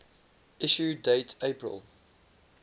issue date april